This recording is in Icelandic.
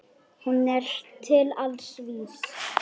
Hún er til alls vís.